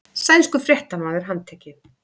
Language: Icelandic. Sænskur fréttamaður handtekinn